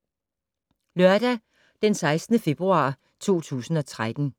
Lørdag d. 16. februar 2013